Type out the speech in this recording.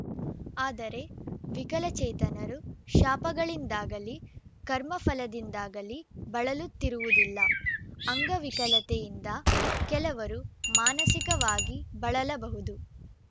ಆದರೆ ವಿಕಲಚೇತನರು ಶಾಪಗಳಿಂದಾಗಲಿ ಕರ್ಮಫಲದಿಂದಾಗಲಿ ಬಳಲುತ್ತಿರುವುದಿಲ್ಲ ಅಂಗವಿಕಲತೆಯಿಂದ ಕೆಲವರು ಮಾನಸಿಕವಾಗಿ ಬಳಲಬಹುದು